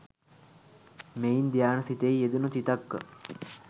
මෙයින් ධ්‍යාන සිතෙහි යෙදුණූ විතක්ක